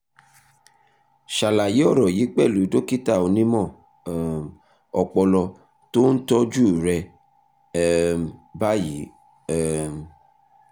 ṣàlàyé ọ̀rọ̀ yìí pẹ̀lú dókítà onímọ̀ um ọpọlọ tó ń tọ́jú ẹ um báyìí um